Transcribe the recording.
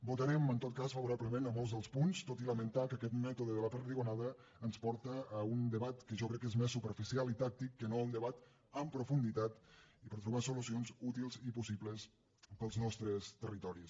votarem en tot cas favora·blement a molts dels punts tot i lamentar que aquest mètode de la perdigonada ens porta a un debat que jo crec que és més superficial i tàctic que no un debat en profunditat per trobar solucions útils i possibles per als nostres territoris